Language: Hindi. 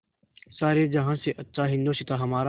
सारे जहाँ से अच्छा हिन्दोसिताँ हमारा